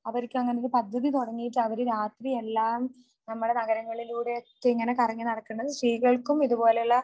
അവർക്കുഅങ്ങനെ ഒരു പദ്ധതി തുടങ്ങീട്ട് അവർ രാത്രിയെല്ലാം നമ്മുടെ നഗരങ്ങളിലൂടെ ഇങ്ങനെ കറങ്ങി നടക്കുന്നത് സ്ത്രീകൾക്കും ഇതുപോലെയുള്ള